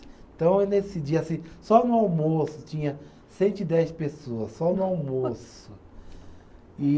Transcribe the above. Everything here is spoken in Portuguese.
Então, nesse dia, assim, só no almoço, tinha cento e dez pessoas, só no almoço.